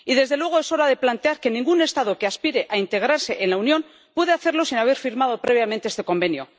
Y, desde luego, es hora de plantear que ningún Estado que aspire a integrarse en la Unión pueda hacerlo sin haber firmado previamente este Convenio.